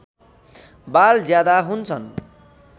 बाल ज्यादा हुन्छन्